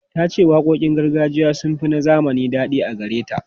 Ta ce waƙoƙin gargajiya sun fi na zamani daɗi a gare ta.